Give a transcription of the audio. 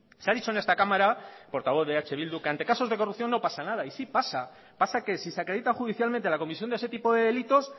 se ha dicho en esta cámara portavoz de eh bildu que ante casos de corrupción no pasa nada y sí pasa pasa que si se acredita judicialmente la comisión de ese tipo de delitos